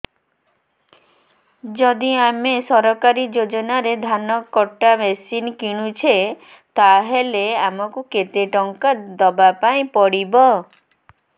ଯଦି ଆମେ ସରକାରୀ ଯୋଜନାରେ ଧାନ କଟା ମେସିନ୍ କିଣୁଛେ ତାହାଲେ ଆମକୁ କେତେ ଟଙ୍କା ଦବାପାଇଁ ପଡିବ